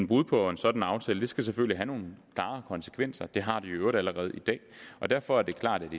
brud på en sådan aftale skal selvfølgelig have nogle klare konsekvenser det har det i øvrigt allerede i dag og derfor er det klart